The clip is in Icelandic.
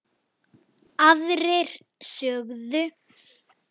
Aðrir sögðu